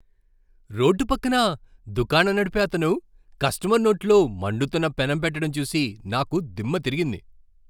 Road పక్కన దుకాణం నడిపే అతను కస్టమర్ నోట్లో మండుతున్న పెనం పెట్టడం చూసి నాకు దిమ్మతిరిగింది.